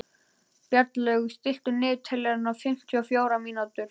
Bjarnlaugur, stilltu niðurteljara á fimmtíu og fjórar mínútur.